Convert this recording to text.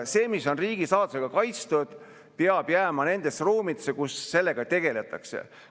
See, mis on riigisaladusega kaitstud, peab jääma nendesse ruumidesse, kus sellega tegeletakse.